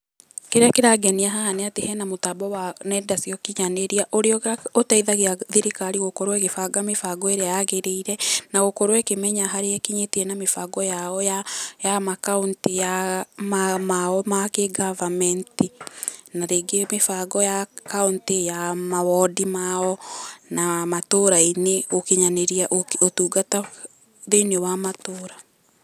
Kĩrĩa kĩrangenia haha nĩ atĩ he na mũtambo wa nenda cia ũkinyanĩria ũrĩa ũteithagia thirikari gũkorwo ĩgĩbanga mĩbango ĩrĩa yagĩrĩire, na gũkorwo ĩkĩmenya harĩa ĩkinyĩtie na mĩbango yao ya ya makaũntĩ ya, mao ma kĩ goverment ,na rĩngĩ mĩbango ya kauntĩ, ya mawondi mao, na matũũra-inĩ gũkinyanĩria ũtungata thĩiniĩ wa matũũra